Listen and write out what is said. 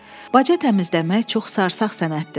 Baca təmizləmək çox sarsağ sənətdir.